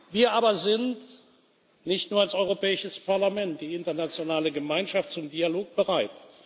Wir aber sind nicht nur als Europäisches Parlament, auch die internationale Gemeinschaft zum Dialog bereit.